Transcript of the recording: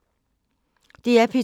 DR P2